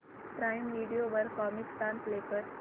prime Video वर Comicstaan play कर